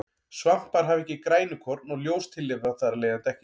Svampar hafa ekki grænukorn og ljóstillífa þar af leiðandi ekki.